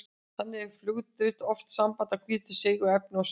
Þannig er fugladrit oft sambland af hvítu seigu efni og saur.